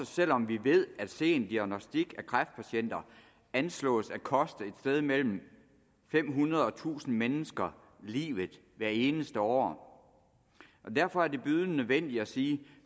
selv om vi ved at sen diagnostik af kræftpatienter anslås at koste et sted mellem fem hundrede og tusind mennesker livet hvert eneste år derfor er det bydende nødvendigt at sige